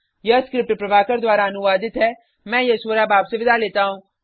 यह स्क्रिप्ट प्रभाकर द्वारा अनुवादित है मैं यश वोरा अब आपसे विदा लेता हूँ